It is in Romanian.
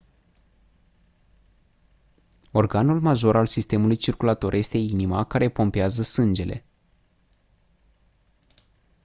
organul major al sistemului circulator este inima care pompează sângele